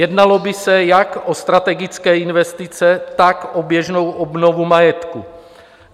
Jednalo by se jak o strategické investice, tak o běžnou obnovu majetku.